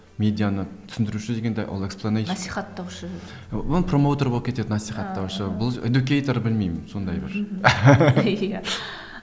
медианы түсіндіруші дегенде ол эксплонейшн насихаттаушы ол промоутер болып кетеді насихаттаушы бұл эдюкейтор білмеймін сондай бір